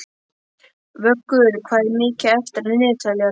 Vöggur, hvað er mikið eftir af niðurteljaranum?